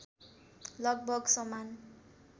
लगभग समान